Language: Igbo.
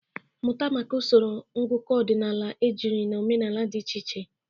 Mụta maka usoro ngụkọ ọdịnala ejiri na omenala dị iche iche.